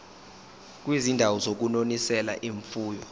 kwizindawo zokunonisela imfuyo